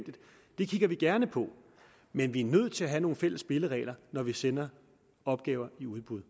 kigger vi gerne på men vi er nødt til at have nogle fælles spilleregler når vi sender opgaver i udbud